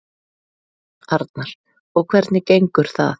Arnar: Og hvernig gengur það?